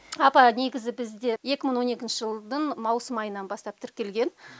апа негізі бізде екі мың он екінші жылдың маусым айынан бастап тіркелген